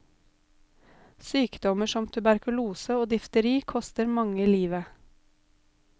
Sykdommer som tuberkulose og difteri koster mange livet.